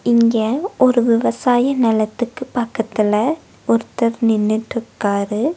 இங்க ஒரு விவசாய நெலத்துக்கு பக்கத்துல ஒர்தர் நின்னுட்ருக்காரு.